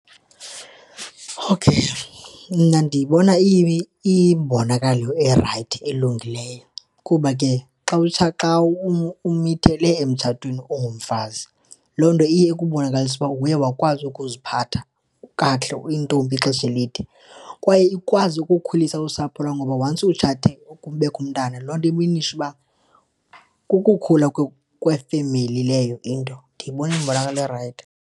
Okay, mna ndiyibona iyimbonakalayo erayithi, elungileyo. Kuba ke xa xa umithele emtshatweni ungumfazi, loo nto iye ikubonakalise ukuba uye wakwazi ukuziphatha kakuhle, uyintombi ixesha elide. Kwaye ikwazi ukukhulisa usapho lwakho ngoba once utshate kubekho umntana, loo nto iminisha uba kukukhula kwefemeli leyo into, ndiyibona iyimbonakalo erayithi.